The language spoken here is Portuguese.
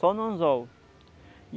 Só no anzol.